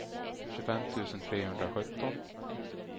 tjugofem tusen trehundrasjutton